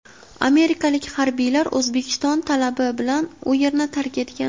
amerikalik harbiylar O‘zbekiston talabi bilan u yerni tark etgan.